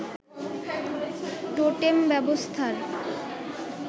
totem ব্যবস্থার